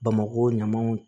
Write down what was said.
Bamakɔ ɲamanw